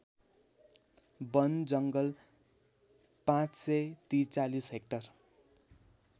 वनजङ्गल ५४३ hectare